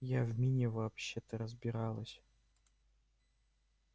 я в мини вообще-то собиралась